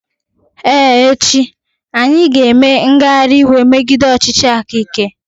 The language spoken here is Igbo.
Ee echi, anyị ga-eme ngagharị iwe megide ọchịchị aka ike.